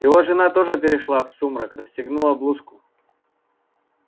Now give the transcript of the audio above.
его жена тоже перешла в сумрак расстегнула блузку